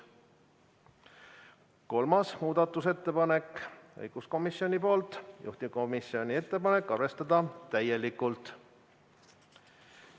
Kolmas muudatusettepanek on õiguskomisjonilt, juhtivkomisjoni ettepanek: arvestada täielikult.